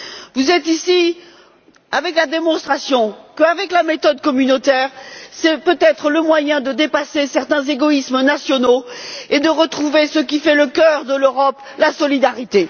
Vous faites ici la démonstration que la méthode communautaire est peut être le moyen de dépasser certains égoïsmes nationaux et de retrouver ce qui fait le cœur de l'Europe, à savoir la solidarité.